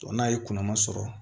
n'a ye kunnama sɔrɔ